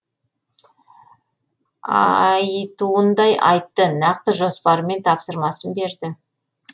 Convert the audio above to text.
ааааййтуындай айтты нақты жоспары мен тапсырмасын берді